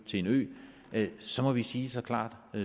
til en ø så må vi sige så klart